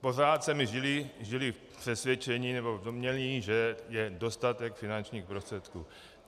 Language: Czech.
Pořád jsme žili v přesvědčení nebo v domnění, že je dostatek finančních prostředků.